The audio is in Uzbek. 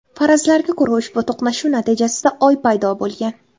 Farazlarga ko‘ra, ushbu to‘qnashuv natijasida Oy paydo bo‘lgan.